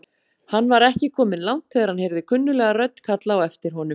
Hann var ekki kominn langt þegar hann heyrði kunnuglega rödd kalla á aftir honum.